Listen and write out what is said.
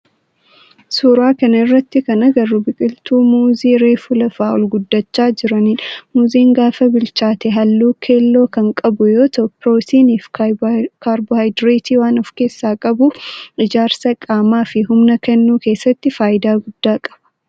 suuraa kana irratti kan agarru biqiltuu muuzii reefu lafaa ol guddachaa jiranidha. muuziin gaafa bilchaate halluu keelloo kan qabu yoo ta'u pirootinii fi kaarboohayidireetii waan of keessaa qabuuf ijaarsa qaamaa fi humna kennuu keessatti faayidaa guddaa qaba.